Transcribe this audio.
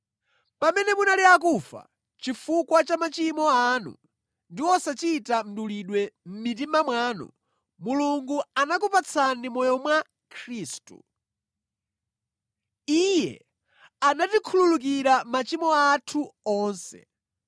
Pamene munali akufa chifukwa cha machimo anu ndi osachita mdulidwe mʼmitima mwanu, Mulungu anakupatsani moyo mwa Khristu. Iye anatikhululukira machimo athu onse.